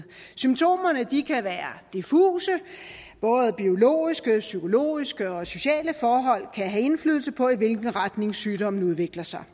symptomerne kan være diffuse både biologiske psykologiske og sociale forhold kan få indflydelse på i hvilken retning sygdommen udvikler sig